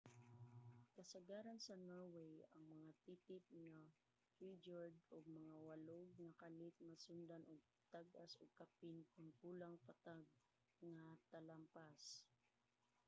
kasagaran sa norway ang mga titip nga fjord ug mga walog nga kalit masundan og tag-as ug kapin kon kulang patag nga talampas